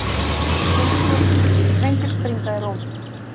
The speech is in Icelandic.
Sprengjur springa í Róm